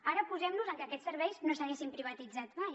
ara posem nos en que aquests serveis no s’haguessin privatitzat mai